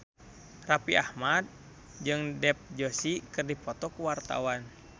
Raffi Ahmad jeung Dev Joshi keur dipoto ku wartawan